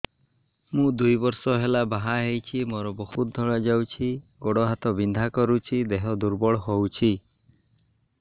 ମୁ ଦୁଇ ବର୍ଷ ହେଲା ବାହା ହେଇଛି ମୋର ବହୁତ ଧଳା ଯାଉଛି ଗୋଡ଼ ହାତ ବିନ୍ଧା କରୁଛି ଦେହ ଦୁର୍ବଳ ହଉଛି